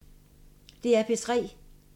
DR P3